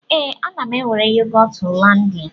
Ee, ana m ewere yogọt Hollandia.